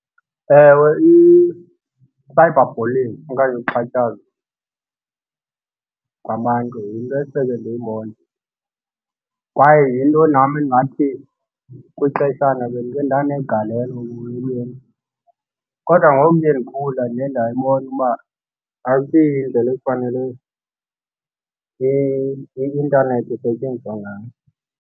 Ewe, i-cyber bulling okanye uxhatshazwa kwabantu yinto esele ndiyibone kwaye yinto nam endingathi kwixeshana bendike ndanegalelo ukuyenza. Kodwa ngokuye ndikhula ndiye ndayibona uba asiyindlela ekufanele i-intanethi isetyenziswa ngayo.